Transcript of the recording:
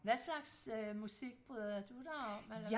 Hvad slags øh musik bryder du dig om eller